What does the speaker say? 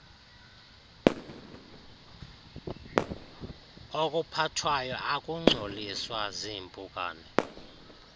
okuphathwayo akungcoliswa ziimpukane